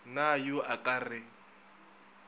na yo a ka re